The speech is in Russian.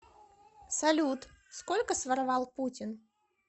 салют сколько своровал путин